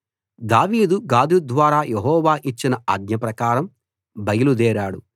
దావీదు గాదు ద్వారా యెహోవా యిచ్చిన ఆజ్ఞ ప్రకారం బయలు దేరాడు